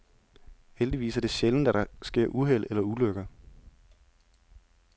Heldigvis er det sjældent, at der sker uheld eller ulykker.